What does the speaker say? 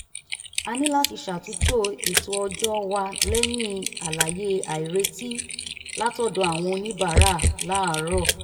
a ní láti ṣàtúntò ètò ọjọ́ wa lẹ́yìn àlàyé àìretí látọ̀dọ̀ àwọn oníbàárà láàárọ̀